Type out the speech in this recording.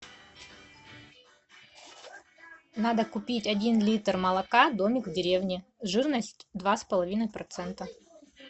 надо купить один литр молока домик в деревне жирность два с половиной процента